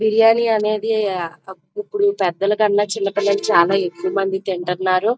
బిర్యానీ అనేది ఇప్పుడు పెద్దలకంటే చాలా ఎక్కువగా చిన్న పిల్లలు తింటున్నారు.